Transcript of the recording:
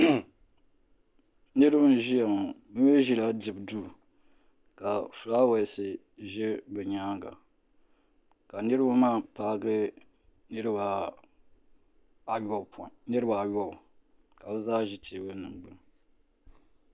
Niriba n ʒia ŋɔ bɛ mee ʒila dibu duu ka filaawaasi ʒɛ bɛ nyaanga ka niriba maa paagi niriba ayɔbu ka bɛ zaa ʒi teebuli gbini.